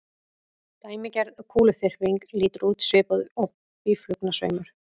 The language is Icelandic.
Dæmigerð kúluþyrping lítur út svipað og býflugnasveimur.